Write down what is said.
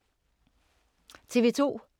TV 2